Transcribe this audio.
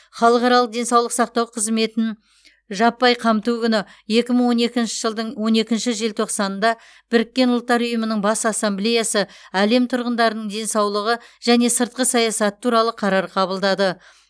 халықаралық денсаулық сақтау қызметін жаппай қамту күні екі мың он екінші жылдың он екінші желтоқсанында біріккен ұлттар ұйымының бас ассамблеясы әлем тұрғындарының денсаулығы және сыртқы саясаты туралы қарар қабылдады